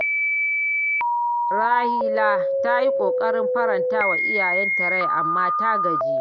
Raliya ta yi ƙoƙarin faranta wa iyayenta rai, amma ta gaji.